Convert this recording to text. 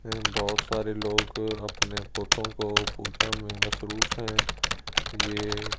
बहुत सारे लोग अपने पोतों को पूजा में मसरूफ हैं ये--